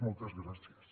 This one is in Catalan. moltes gràcies